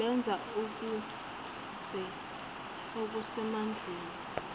benza okuse mandleni